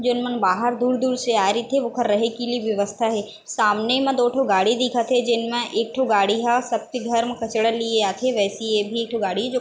जेनमन बाहर दूर-दूर से आए रहीथे ओकर रहे के लिए व्यवस्था हे सामने म दो ठो गाड़ी दिखत हे जेन मा एक ठो गाड़ी ह सब के घर म काचडा लिए आथे व्यीसी ये भी एक ठो गाड़ी हे जो--